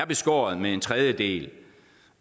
beskåret med en tredjedel